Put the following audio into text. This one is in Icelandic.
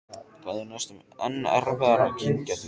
Það er næstum enn erfiðara að kyngja því.